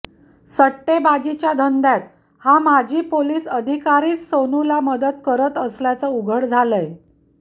सट्टेबाजीच्या धंद्यात हा माजी पोलीस अधिकारीच सोनूला मदत करत असल्याचं उघड झालंय